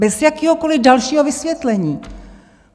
Bez jakéhokoliv dalšího vysvětlení!